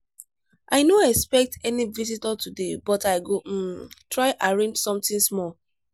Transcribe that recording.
i no expect any visitor today but i go um try arrange something small.